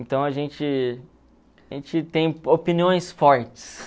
Então a gente a gente tem opiniões fortes.